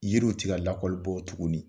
Yiriw tɛ ka lakɔli bɔ tuguni